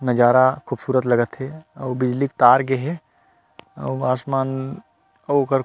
नज़ारा खूबसूरत लगत हे आऊ बिजली के तार गए हे अउ आसमान अउ ओकर--